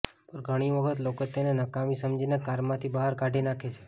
પણ ઘણી વખત લોકો તેને નકામી સમજીને કારમાંથી બહાર કાઢી નાખે છે